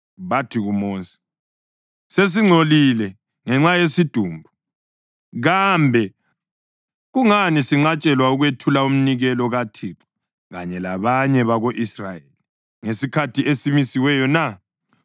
bathi kuMosi, “Sesingcolile ngenxa yesidumbu, kambe kungani sinqatshelwa ukwethula umnikelo kaThixo kanye labanye bako-Israyeli ngesikhathi esimisiweyo na?”